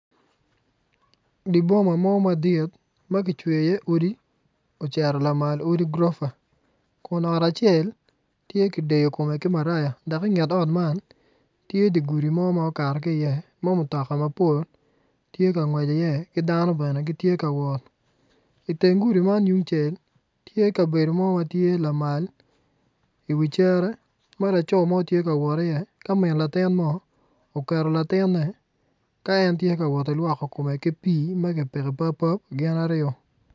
Dye boma mo madit ma kicweyo iye odi ocito lamal odi grofa kun ot acel tye kideyo kome ki maraya dok inget ot man tye dye gudi mo ma okato ki iye ma mutoka mapol tye ka ngwec i iye ki dano bene gitye ka wot iten gudi man yung cel tye kabedo mo matye lamal iwi cere ma laco mo tye ka wot i iye ka min latin mo oketo latine ka en tye kawot ki lwoko kome i pii ma kipiko i pap pap gin aryo